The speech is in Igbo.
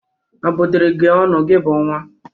A bụdịrị gị ọnụ gị bụ nwa?